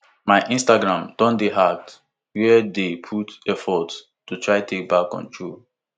my instagram don dey hacked wey dey put effort to try take back control